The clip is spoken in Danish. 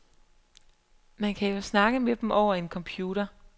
Man kan jo snakke med dem over en computer.